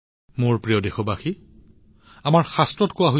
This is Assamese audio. মোৰ মৰমৰ দেশবাসীসকল শাস্ত্ৰত কোৱা হৈছে